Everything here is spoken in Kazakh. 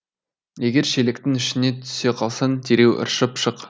егер шелектің ішіне түсе қалсаң дереу ыршып шық